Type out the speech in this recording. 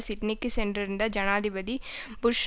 சிட்னிக்கு சென்றிருந்த ஜனாதிபதி புஷ்